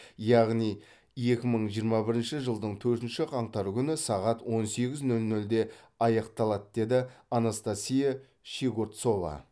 яғни екі мың жиырма бірінші жылдың төртінші қаңтары күні сағат он сегіз нөл нөлде аяқталады деді анастасия щегорцова